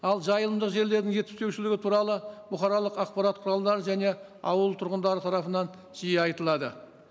ал жайымдылық жерлердің жетіспеушілігі туралы бұқаралық ақпарат құралдары және ауыл тұрғындары тарапынан жиі айтылады